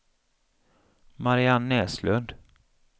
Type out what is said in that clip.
Marianne Näslund